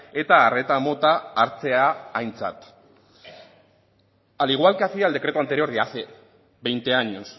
eta arreta mota hartzea aintzat al igual que hacía el decreto anterior ya hace veinte años